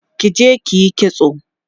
kije kiyi kitso!